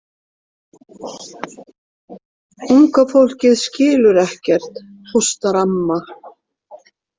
Unga fólkið skilur ekkert, hóstar amma.